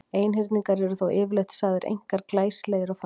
Einhyrningar eru þó yfirleitt sagðir einkar glæsilegir og fallegir.